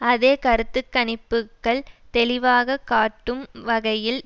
அதே கருத்து கணிப்புக்கள் தெளிவாக காட்டும் வகையில்